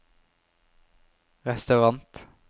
restaurant